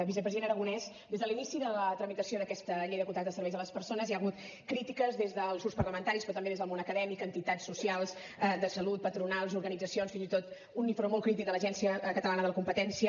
vicepresident aragonès des de l’inici de la tramitació d’aquesta llei de contractes de serveis a les persones hi ha hagut crítiques des dels grups parlamentaris però també des del món acadèmic entitats socials de salut patronals organitzacions fins i tot un informe molt crític de l’agència catalana de la competència